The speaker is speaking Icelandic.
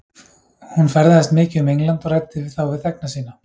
Hún ferðaðist mikið um England og ræddi þá við þegna sína.